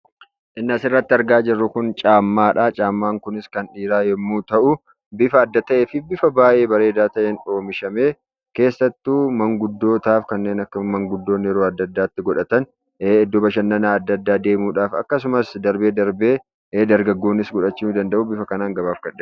Inni asirratti arginu kun kopheedha. Innis kan dhiiraa yommuu ta'u, bifa adda ta'ee fi bifa bareedaa ta'een oomishamee keessattuu manguddoota kanneen akka manguddootaa yeroo adda addaatti godhatan; iddoo bashannanaa adda addaa deemuudhaaf darbee darbee dargaggoonnis godhachuu danda'u, bifa kanaan gabaaf kan dhiyaatedha.